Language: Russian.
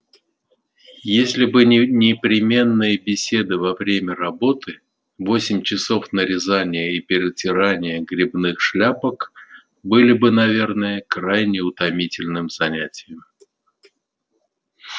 если бы не непременные беседы во время работы восемь часов нарезания и перетирания грибных шляпок были бы наверное крайне утомительным занятием